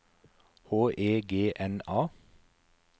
H E G N A